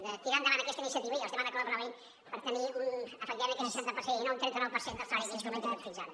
de tirar endavant aquesta iniciativa i els demano que l’aprovin per tenir efectivament aquest seixanta per cent i no un trenta nou per cent del salari mitjà com hem tingut fins ara